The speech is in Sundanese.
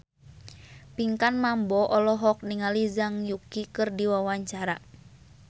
Pinkan Mambo olohok ningali Zhang Yuqi keur diwawancara